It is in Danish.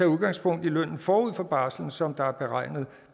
udgangspunkt i lønnen forud for barslen som der er beregnet